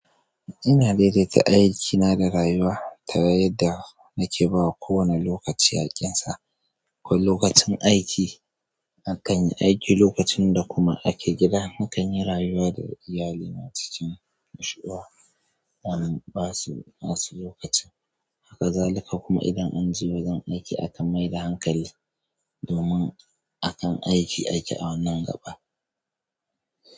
Ina daidaita aikina da rayuwa ta yadda nake ba wa kowane lokaci haƙƙinsa. A lokacin aiki, akan yi aiki, lokacin da kuma ake gida, akan yi rayuwa da iyali na cikin nishaɗi. Wannan ba su asu lokacin. Haka zalika kuma idan anje wajen aiki akan mai da hankali domin akan aiki ake a wannan gaba.